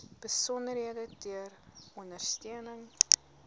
besonderhede ter ondersteuning